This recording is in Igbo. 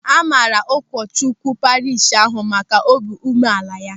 A maara ụkọchukwu parishi ahụ maka obi umeala ya.